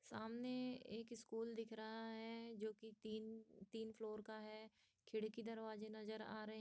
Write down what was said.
सामने एक स्कूल दिख रहा है जो कि तीन तीन फ्लोर का है खिड़की दरवाजे नजर आ रहे --